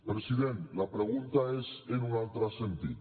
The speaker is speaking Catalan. president la pregunta és en un altre sentit